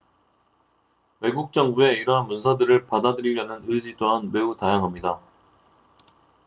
외국 정부의 이러한 문서들을 받아들이려는 의지 또한 매우 다양합니다